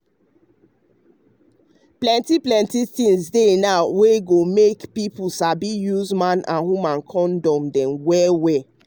plenty plenty things dey now wey dey hep pipo sabi to use man with woman kondom dem well well.